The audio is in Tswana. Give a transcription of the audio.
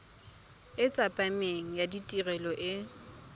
e tsepameng ya tirelo e